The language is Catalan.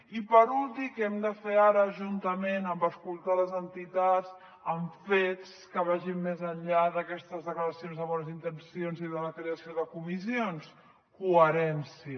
i per últim què hem de fer ara juntament amb escoltar les entitats amb fets que vagin més enllà d’aquestes declaracions de bones intencions i de la creació de comissions coherència